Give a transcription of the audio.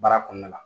Baara kɔnɔna la